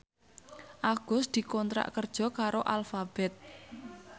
Agus dikontrak kerja karo Alphabet